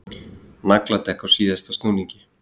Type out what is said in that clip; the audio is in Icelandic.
Nagladekk á síðasta snúningi